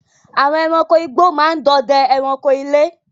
Àwọn èràńko ìgbó máa ń dòdè èràńko ilé.